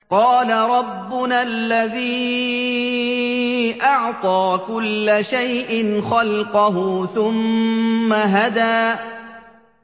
قَالَ رَبُّنَا الَّذِي أَعْطَىٰ كُلَّ شَيْءٍ خَلْقَهُ ثُمَّ هَدَىٰ